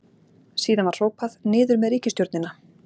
Síðan var hrópað: Niður með ríkisstjórnina!